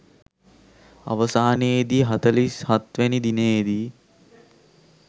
අවසානයේ දී හතලිස් හත්වැනි දිනයේ දී